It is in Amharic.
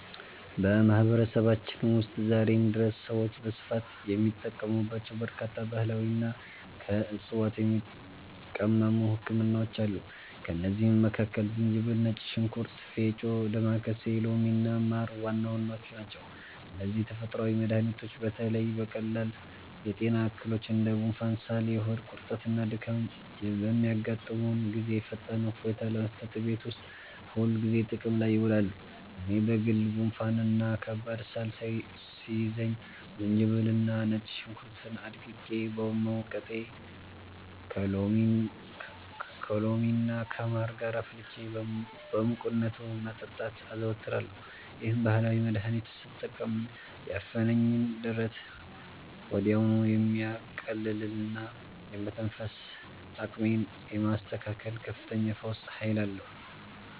በማህበረሰባችን ውስጥ ዛሬም ድረስ ሰዎች በስፋት የሚጠቀሙባቸው በርካታ ባህላዊና ከዕፅዋት የሚቀመሙ ህክምናዎች አሉ። ከእነዚህም መካከል ዝንጅብል፣ ነጭ ሽንኩርት፣ ፌጦ፣ ዳማከሴ፣ ሎሚና ማር ዋና ዋናዎቹ ናቸው። እነዚህ ተፈጥሯዊ መድኃኒቶች በተለይ በቀላል የጤና እክሎች እንደ ጉንፋን፣ ሳል፣ የሆድ ቁርጠትና ድካም በሚያጋጥሙን ጊዜ ፈጣን እፎይታ ለመስጠት እቤት ውስጥ ሁልጊዜ ጥቅም ላይ ይውላሉ። እኔ በግሌ ጉንፋንና ከባድ ሳል ሲይዘኝ ዝንጅብልና ነጭ ሽንኩርት አድቅቄ በመውቀጥ፣ ከሎሚና ከማር ጋር አፍልቼ በሙቅነቱ መጠጣትን አዘወትራለሁ። ይህንን ባህላዊ መድኃኒት ስጠቀም ያፈነኝን ደረት ወዲያውኑ የማቅለልና የመተንፈስ አቅሜን የማስተካከል ከፍተኛ የፈውስ ኃይል አለው።